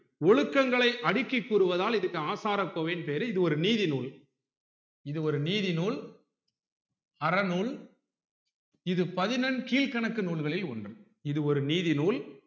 ஒழுக்கங்களை அடிக்கி கூறுவதால் இதுக்கு ஆசாரக்கோவைன்னு பேரு இது ஒரு நீதி நூல் இது ஒரு நீதி நூல் அறநூல் இது பதினெண்கீழ்க்கணக்கு நூல்களில் ஒன்று இது ஒரு நீதி நூல்